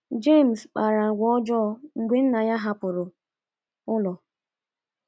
James kpara agwa ọjọọ mgbe nna ya hapụrụ ụlọ.